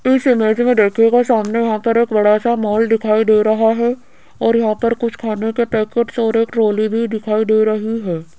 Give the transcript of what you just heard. इस इमेज में देखिएगा सामने यहां एक बड़ा सा मॉल दिखाई दे रहा है और यहां पर कुछ खाने के पैकेट्स और एक ट्रॉली भी दिखाई दे रही है।